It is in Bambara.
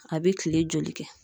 A bɛ kile joli kɛ?